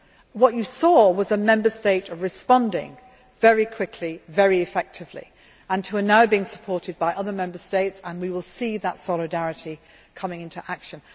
in. What you saw was a Member State responding very quickly, very effectively, and which is now being supported by other Member States, and we will see that solidarity coming into action.